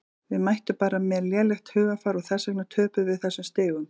Við mættum bara með lélegt hugarfar og þess vegna töpuðum við þessum stigum.